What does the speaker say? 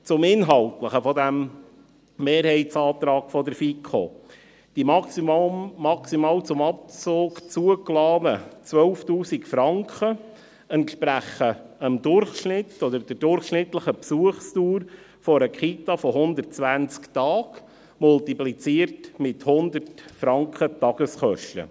Zum Inhaltlichen dieses Mehrheitsantrages der FiKo: Die maximal zum Abzug zugelassenen 12'000 Franken entsprechen der durchschnittlichen Besuchsdauer einer Kita von 120 Tagen, multipliziert mit 100 Franken Tageskosten.